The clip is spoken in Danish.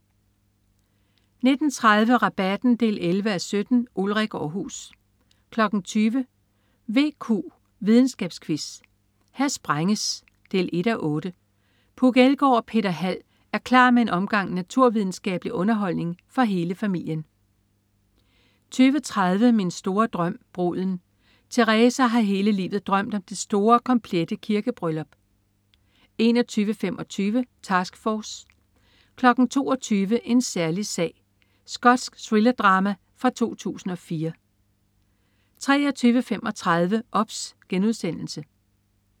19.30 Rabatten 11:17. Ulrik Aarhus 20.00 VQ, videnskabsquiz. Her sprænges! 1:8. Puk Elgård og Peter Hald er klar med en omgang naturvidenskabelig underholdning for hele familien 20.30 Min store drøm. Bruden. Teresa har hele livet drømt om det store og komplette kirkebryllup 21.25 Task Force 22.00 En særlig sag. Skotsk thrillerdrama fra 2004 23.35 OBS*